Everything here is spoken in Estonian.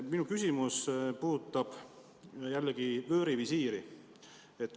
Minu küsimus puudutab jällegi vöörivisiiri.